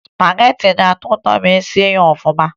Spagetị na-atọ ụtọ ma e sie ya ọfụma